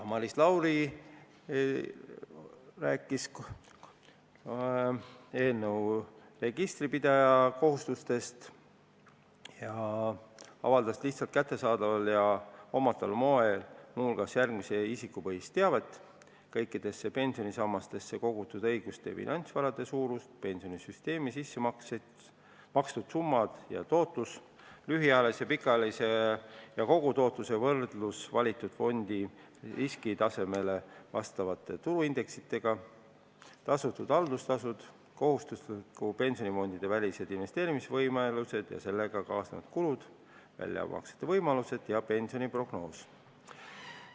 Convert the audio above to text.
Maris Lauri rääkis eelnõu kohaselt tekkivatest registripidaja kohustustest avaldada lihtsalt kättesaadaval ja hoomataval moel muu hulgas järgmist isikupõhist teavet: kõikidesse pensionisammastesse kogutud õiguste ja finantsvarade suurus, pensionisüsteemi sissemakstud summad ja tootlus, lühiajalise ja pikaajalise ja kogutootluse võrdlus valitud fondi riskitasemele vastavate turuindeksitega, tasutud haldustasud, kohustuslike pensionifondide välised investeerimisvõimalused ja sellega kaasnevad kulud, väljamaksete võimalused ja pensioniprognoos.